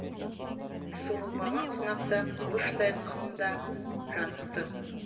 суырылмаған сынақта қылыштай қында жанықты